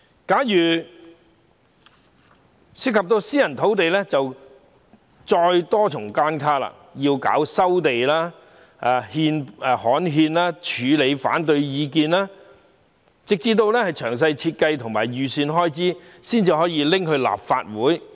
假如涉及私人土地，就有多重關卡，要先收地、刊憲、處理反對意見等，直至擬備好詳細設計和預算開支，才可提交立法會。